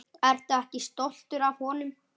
Ertu ekki stoltur af honum?